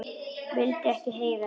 Vildi ekki heyra þetta!